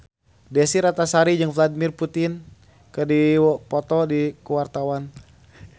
Desy Ratnasari jeung Vladimir Putin keur dipoto ku wartawan